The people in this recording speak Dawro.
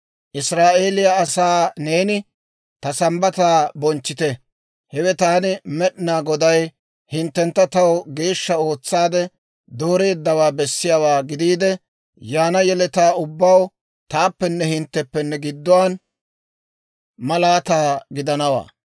«Israa'eeliyaa asaa neeni, ‹Ta Sambbataa bonchchite. Hewe taani Med'inaa Goday hinttentta taw geeshsha ootsaadde dooreeddawaa bessiyaawaa gidiide, yaana yeletaa ubbaw taappenne hintteppe gidduwaan malaataa gidanawaa.